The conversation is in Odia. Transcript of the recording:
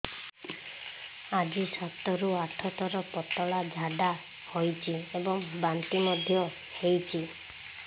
ଆଜି ସାତରୁ ଆଠ ଥର ପତଳା ଝାଡ଼ା ହୋଇଛି ଏବଂ ବାନ୍ତି ମଧ୍ୟ ହେଇଛି